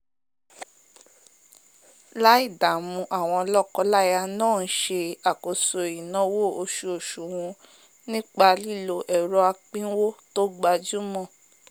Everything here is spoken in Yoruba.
láì dààmú àwọn lọ́kọ- láyà náà n se àkóso ìnáwó osuosù wọn nípa lílo ẹ̀rọ apínwó tò gbajúmọ̀